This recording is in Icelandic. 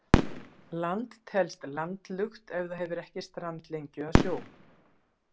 Land telst landlukt ef það hefur ekki strandlengju að sjó.